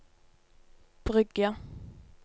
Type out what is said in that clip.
Bryggja